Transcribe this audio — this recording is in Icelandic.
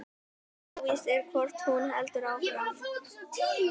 Óvíst er hvort hún heldur áfram